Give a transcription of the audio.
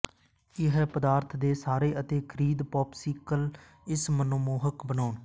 ਇਹ ਪਦਾਰਥ ਦੇ ਸਾਰੇ ਅਤੇ ਖਰੀਦ ਪਾਪਸਿਕਲ ਇਸ ਮਨਮੋਹਕ ਬਣਾਉਣ